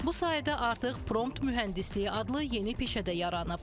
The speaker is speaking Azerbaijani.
Bu sayədə artıq prompt mühəndisliyi adlı yeni peşə də yaranıb.